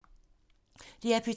DR P2